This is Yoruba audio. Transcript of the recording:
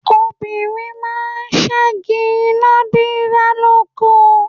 Obìnrin máa ń ṣẹ́gi iná dídá lóko.